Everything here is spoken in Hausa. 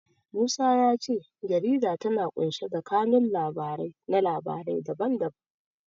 Musa ya ce jarida tana ƙunshe da kanun labarai na labarai da ban da ban.